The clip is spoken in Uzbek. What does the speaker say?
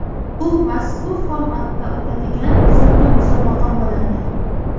Bu mazkur formatda o‘tadigan so‘nggi musobaqa bo‘ladi.